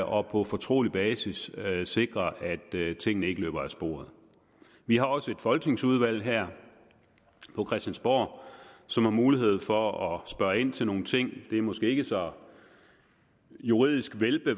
og på fortrolig basis sikre at tingene ikke løber af sporet vi har også et folketingsudvalg her på christiansborg som har mulighed for at spørge ind til nogle ting det er måske ikke så juridisk